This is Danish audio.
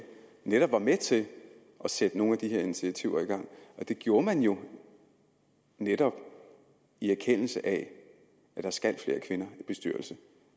netop var med til at sætte nogle af de her initiativer i gang og det gjorde man jo netop i erkendelse af at der skal flere kvinder i bestyrelser